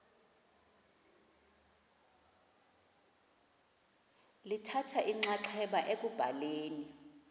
lithatha inxaxheba ekubhaleni